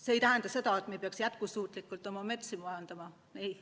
See ei tähenda seda, et me ei peaks jätkusuutlikult oma metsa majandama.